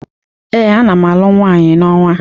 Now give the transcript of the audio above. Ee, ana m alụ nwaanyi n'ọnwa.